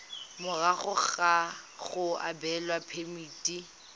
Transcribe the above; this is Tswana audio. morago ga go abelwa phemiti